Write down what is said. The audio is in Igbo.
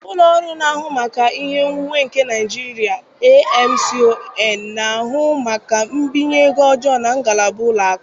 Ụlọ ọrụ na-ahụ maka ihe onwunwe nke Nigeria (AMCON) na-ahụ maka mbinye ego ọjọọ na ngalaba ụlọ akụ.